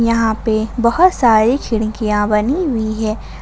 यहां पे बहोत सारी खिड़कियां बनी हुई है।